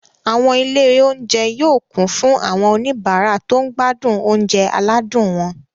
Àwọn ilé-oúnjẹ yóò kún fún àwọn oníbàárà tó ń gbádùn oúnjẹ aládùn wọn.